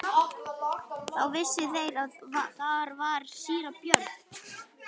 Þá vissu þeir að þar var síra Björn.